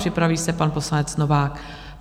Připraví se pan poslanec Novák.